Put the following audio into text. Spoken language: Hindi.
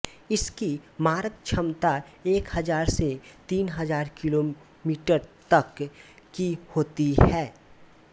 इसकी मारक क्षमता एक हजार से तीन हजार किलोमीटरतक की होती है